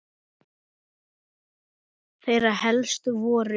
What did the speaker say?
Þeirra helst voru